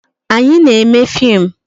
Anyị na-eme fim